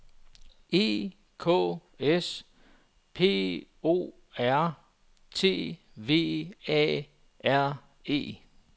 E K S P O R T V A R E